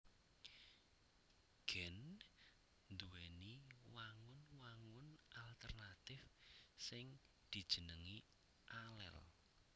Gen nduwèni wangun wangun alternatif sing dijenengi alel